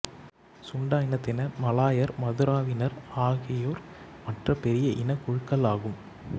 சுண்டா இனத்தினர் மலாயர் மதுராவினர் ஆகியோர் மற்ற பெரிய இனக்குழுக்களாகும்